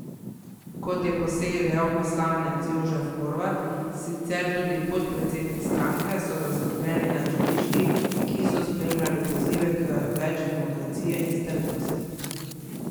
Kot je po seji dejal poslanec Jožef Horvat, sicer tudi podpredsednik stranke, so zaskrbljeni nad žvižgi, ki so spremljali pozive k več demokracije in strpnosti.